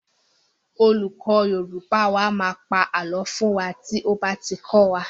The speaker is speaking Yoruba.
Our Yoruba teacher tells us myths when he is teaching us.